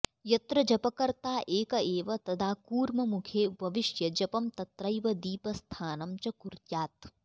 यत्र जपकर्ता एक एव तदा कूर्ममुखे उपविश्य जपं तत्रैव दीपस्थानं च कुर्यात्